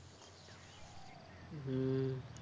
হুম